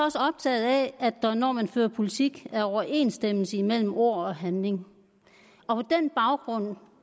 også optaget af at der når man fører politik er overensstemmelse imellem ord og handling og på den baggrund